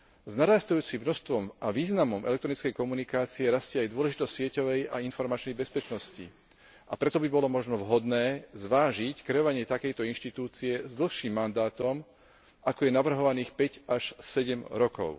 S narastajúcim množstvom a významom elektronickej komunikácie rastie aj dôležitosť sieťovej a informačnej bezpečnosti, a preto by bolo možno vhodné zvážiť kreovanie takejto inštitúcie s dlhším mandátom, ako je navrhovaných päť až sedem rokov.